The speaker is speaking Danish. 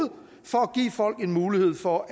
for at give folk en mulighed for